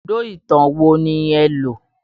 Ibùdó ìtàn wo ni ẹ lo?